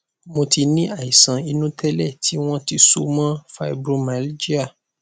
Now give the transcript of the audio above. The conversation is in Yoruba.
mo ti ní àìsàn inú tẹlẹ tí wọn ti so mọ fibromyalgia